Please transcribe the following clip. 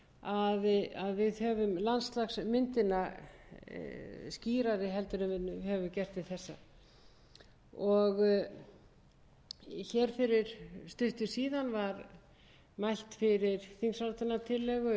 að höfum landslagsmyndina skýrari en við höfum gert til þessa fyrir stuttu síðan var mælt fyrir þingsályktunartillögu um eflingu